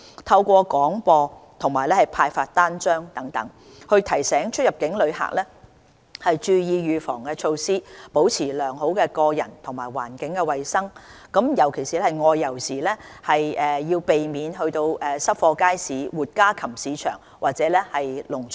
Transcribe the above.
透過廣播及派發單張等，提醒出入境旅客注意預防措施，保持良好的個人及環境衞生，外遊時尤其避免到濕貨街市、活家禽市場或農場。